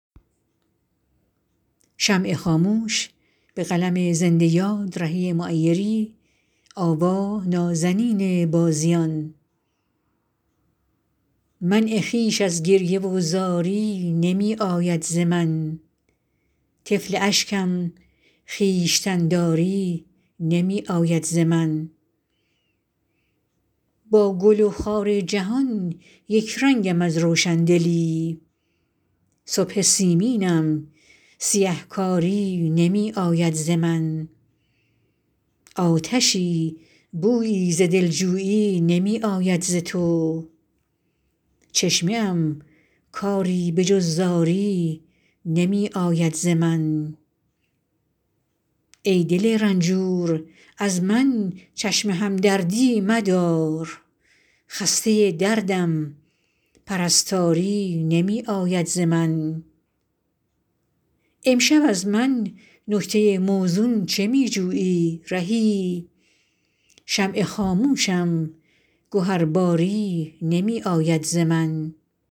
منع خویش از گریه و زاری نمی آید ز من طفل اشکم خویشتن داری نمی آید ز من با گل و خار جهان یک رنگم از روشندلی صبح سیمینم سیه کاری نمی آید ز من آتشی بویی ز دلجویی نمی آید ز تو چشمه ام کاری به جز زاری نمی آید ز من ای دل رنجور از من چشم همدردی مدار خسته دردم پرستاری نمی آید ز من امشب از من نکته موزون چه می جویی رهی شمع خاموشم گهرباری نمی آید ز من